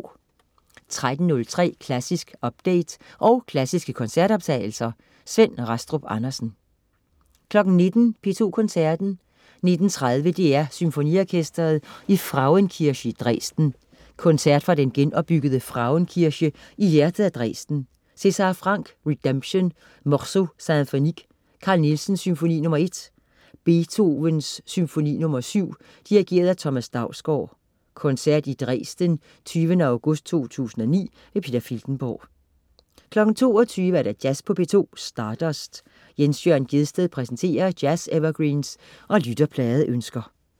13.03 Klassisk update. Og klassiske koncertoptagelser. Svend Rastrup Andersen 19.00 P2 Koncerten. 19.30 DR SymfoniOrkestret i Frauenkirche, Dresden. Koncert fra den genopbyggede Frauenkirche i hjertet af Dresden. César Franck: Rédemption. Morceau symphonique. Carl Nielsen: Symfoni nr. 1. Beethoven: Symfoni nr. 7. Dirigent: Thomas Dausgaard. (Koncert i Dresden 20. august 2009). Peter Filtenborg 22.00 Jazz på P2. Stardust. Jens Jørn Gjedsted præsenterer jazz-evergreens og lytterpladeønsker